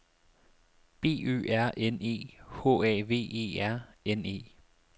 B Ø R N E H A V E R N E